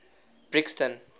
brixton